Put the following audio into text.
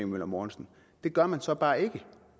møller mortensen det gør man så bare ikke